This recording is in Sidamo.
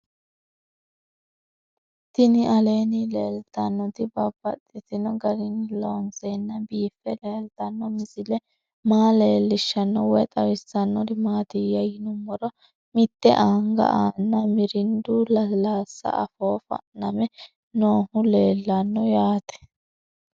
Tinni aleenni leelittannotti babaxxittinno garinni loonseenna biiffe leelittanno misile maa leelishshanno woy xawisannori maattiya yinummoro mitte anga aanna mirindu lasiilaasi afoo fa'namme noohu leelanno yaatte.